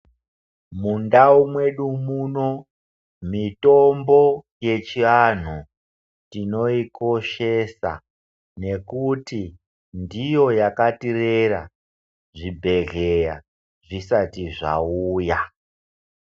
Mindau mwedu muno mitombo yedu yechiantu tinoyikoshesa nekuti ndiyo yakatirera zvibhedhlera zvisati zvisati zvauya.